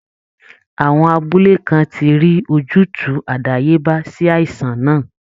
Àwọn abúlé kan ti rí ojútùú àdáyébá sí àìsàn náà